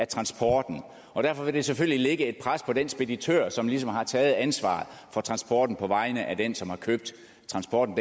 transporten og derfor vil det selvfølgelig lægge et pres på den speditør som ligesom har taget ansvaret for transporten på vegne af den som har købt transporten